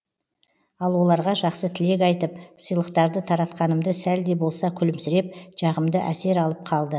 ал оларға жақсы тілек айтып сыйлықтарды таратқанымды сәл де болса күлімсіреп жағымды әсер алып қалды